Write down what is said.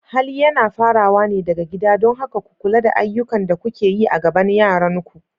Hali yana fara wa ne daga gida, don haka ku kula da ayyukan da kuke yi a gaban yaranku.